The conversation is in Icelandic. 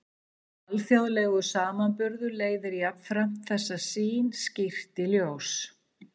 Alþjóðlegur samanburður leiðir jafnframt þessa sýn skýrt í ljós.